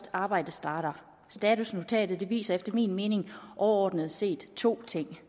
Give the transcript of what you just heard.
at arbejdet starter statusnotatet viser efter min mening overordnet set to ting